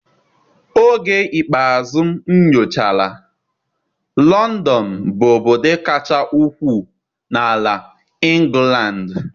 Oge ikpeazụ m nyochara, Lọndọn bụ obodo kacha ukwuu na ala ịngụlandị.